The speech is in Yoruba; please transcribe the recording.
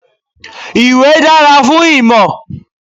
Ìwé dára fún ìmọ̀.